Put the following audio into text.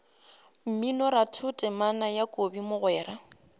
mminoratho temana ya kobi mogwera